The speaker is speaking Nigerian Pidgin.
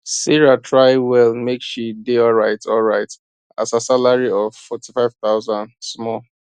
sarah try well make she dey alryt alryt as her salary of forty five thousand small